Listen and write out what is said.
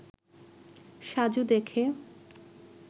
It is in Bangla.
সাজু দেখে